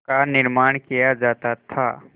का निर्माण किया जाता था